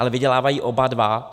Ale vydělávají oba dva.